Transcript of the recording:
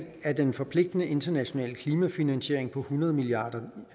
af den forpligtende internationale klimafinansiering på hundrede milliard